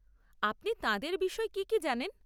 আপনি তাঁদের বিষয়ে কি কি জানেন?